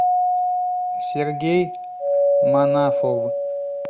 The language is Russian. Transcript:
сергей манафов